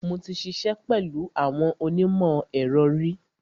Mo ti ṣiṣẹ́ pẹ̀lú àwọn onímọ̀-ẹ̀rọ ri.